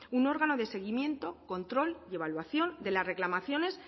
un órganos de seguimiento control y evaluación de las reclamaciones